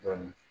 Dɔɔnin